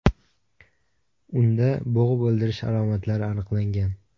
Unda bo‘g‘ib o‘ldirish alomatlari aniqlangan.